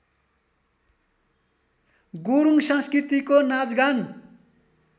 गुरूङ संस्कृतिको नाचगान